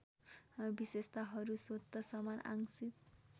विशेषताहरू स्वत समान आंशिक